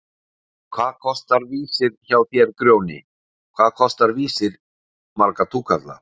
En hvað kostar Vísir hjá þér Grjóni, hvað kostar Vísir marga túkalla?!